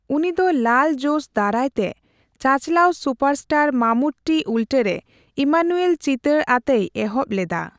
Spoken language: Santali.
ᱩᱱᱤ ᱫᱚ ᱞᱟᱞ ᱡᱳᱥ ᱫᱟᱨᱟᱭ ᱛᱮ ᱪᱟᱪᱞᱟᱣ ᱥᱩᱯᱟᱨᱥᱴᱟᱨ ᱢᱟᱢᱩᱴᱴᱤ ᱩᱞᱴᱟᱹᱨᱮ ᱤᱢᱟᱱᱩᱭᱮᱞ ᱪᱤᱛᱟᱹᱨ ᱟᱛᱮᱭ ᱮᱦᱚᱵ ᱞᱮᱫᱟ ᱾